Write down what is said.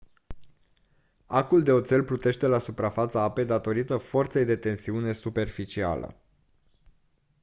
acul de oțel plutește la suprafața apei datorită forței de tensiune superficială